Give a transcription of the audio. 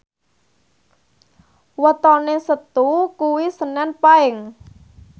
wetone Setu kuwi senen Paing